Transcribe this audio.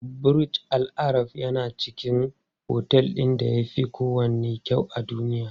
Burj Al Arab yana cikin otel ɗin da yafi kowanne kyau a duniya.